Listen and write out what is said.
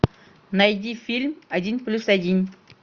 найди фильм один плюс один